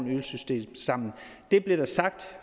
ydelsessystem sammen det blev der sagt